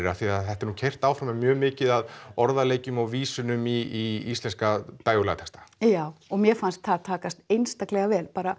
af því að þetta er nú keyrt áfram mjög mikið á orðaleikjum og vísunum í íslenska dægurlagatexta já og mér fannst það takast einstaklega vel bara